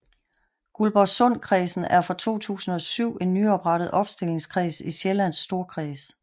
Guldborgsundkredsen er fra 2007 en nyoprettet opstillingskreds i Sjællands Storkreds